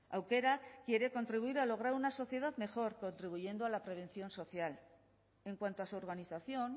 aukerak quiere contribuir a lograr una sociedad mejor contribuyendo a la prevención social en cuanto a su organización